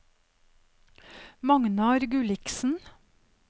Magnar Gulliksen